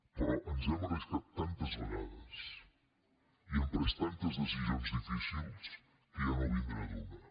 però ens hem arriscat tantes vegades i hem pres tantes decisions difícils que ja no vindrà d’una